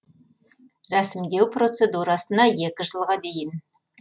рәсімдеу процедурасына екі жылға дейін